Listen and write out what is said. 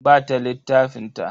Ba ta littafin ta.